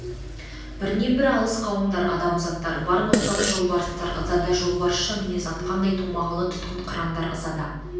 бірнен бір алыс қауымдар адамзаттар бар ноқталы жолбарыстар ызада жолбарысша мінез атқандай томағалы тұтқын қырандар ызада